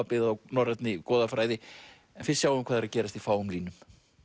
byggð á norrænni goðafræði en fyrst sjáum við hvað er að gerast í fáum línum